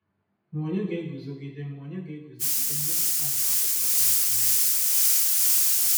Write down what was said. Ma ònye ga-eguzogide Ma ònye ga-eguzogide mmepụta nke akwụkwọ dị mfe nghọta?